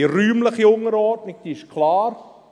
Die räumliche Unterordnung ist klar: